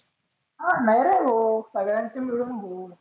अं नाही रे भो सगळ्यांचे मिळुन भो.